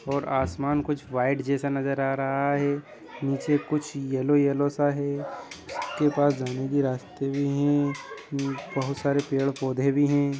और आसमान कुछ व्हाइट जैसा नजर आ रहा है नीचे कुछ येलो येलो सा है उसके पास जाने के रास्ते भी है बहुत सारे पेड़-पौधे भी है।